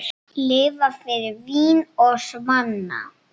Lifa fyrir vín og svanna.